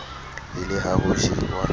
e le ha ho jewa